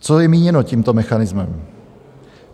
Co je míněno tímto mechanismem?